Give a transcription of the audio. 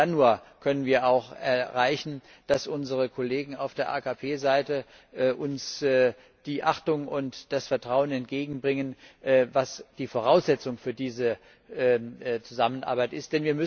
Dann nur können wir auch erreichen, dass unsere Kollegen auf der AKP Seite uns die Achtung und das Vertrauen entgegenbringen, die die Voraussetzung für diese Zusammenarbeit sind.